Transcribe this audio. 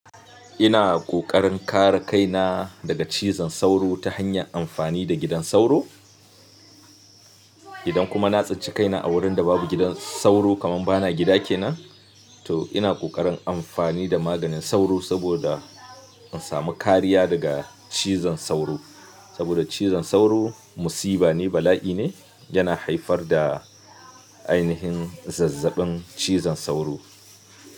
Ina ƙoƙarin kare kaina daga cizon sauro ta hanyar amfani da gidan sauro. Idan kuma na tsince kaina a wurin da babu gidan sauro kaman bana gida kenan, to ina ƙoƙarin amfani da maganin sauro saboda in samu kariya daga cizon sauro. Saboda cizon sauro musibane, bala'i ne, yana haifar da ainihin zazzaɓin cizon sauro.